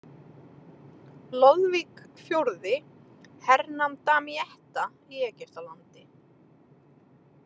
Loðvík IX hernam Damietta í Egyptalandi.